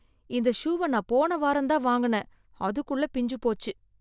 இந்த ஷூவ நான் போன வாரம்தான் வாங்கினேன். அதுக்குள்ள பிஞ்சு போச்சு.